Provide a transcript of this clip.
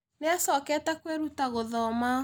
Nĩ acokete kwĩruta gũthoma